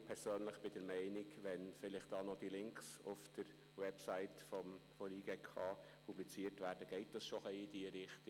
Ich persönlich bin der Meinung, wenn die Links auf der Webseite des JGK publiziert würden, geht das schon in diese Richtung.